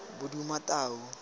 bodumatau